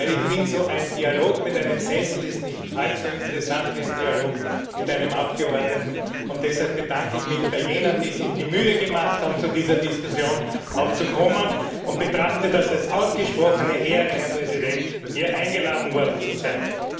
Denn ich finde, ein Dialog mit einem Sessel ist nicht halb so interessant wie ein Dialog mit einem Abgeordneten. Deshalb bedanke ich mich bei jenen, die sich die Mühe gemacht haben, zu dieser Diskussion auch zu kommen, und betrachte das als ausgesprochene Ehre, Herr Präsident, hier eingeladen worden zu sein.